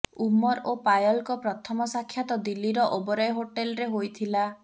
ଉମର ଓ ପାୟଲଙ୍କ ପ୍ରଥମ ସାକ୍ଷାତ ଦିଲ୍ଲୀର ଓବରାୟ ହୋଟେଲ୍ରେ ହୋଇଥିଲା